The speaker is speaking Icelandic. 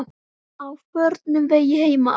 Á förnum vegi heima á